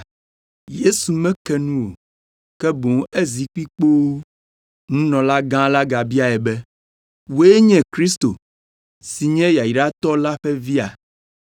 Yesu meke nu o, ke boŋ ezi kpi kpoo. Nunɔlagã la gabiae be, “Wòe nye Kristo, si nye Yayratɔ la ƒe Via?”